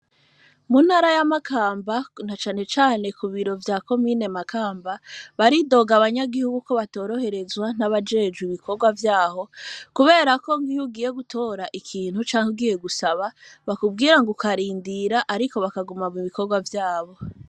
Munara y'amakamba nta canecane ku biro vya komine makamba baridoga abanyagihugu ko batoroherezwa nt'abajejwe ibikorwa vyaho, kubera ko nkiyo ugiye gutora ikintu canke ugiye gusaba bakubwira ngo ukarindira, ariko bakaguma mu bikorwa vyabo.